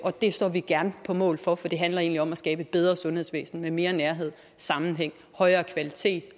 det står vi gerne på mål for for det handler egentlig om at skabe et bedre sundhedsvæsen med mere nærhed sammenhæng højere kvalitet